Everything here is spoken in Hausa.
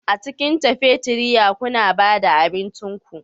A cikin cafeteria kuna ba da abincin ku